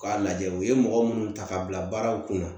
K'a lajɛ u ye mɔgɔ minnu ta ka bila baaraw kunna